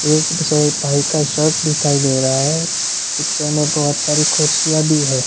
एक बसाय भाई का शर्ट दिखाई दे रहा है पिक्चर में बहोत सारी कुर्सियां भी है।